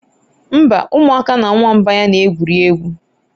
Mba, ụmụaka na nwamba ya na-egwuri egwu